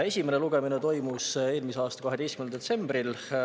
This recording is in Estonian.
Esimene lugemine toimus eelmise aasta 12. detsembril.